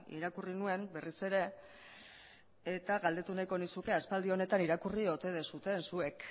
irakurri nuen berriz ere eta galdetu nahiko nizuke aspaldi honetan irakurri ote duzuen zuek